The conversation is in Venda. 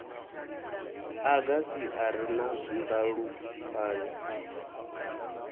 agasi a re na ndalukanyo